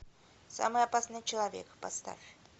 самый опасный человек поставь